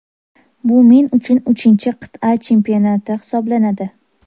Bu men uchun uchinchi qit’a chempionati hisoblanadi.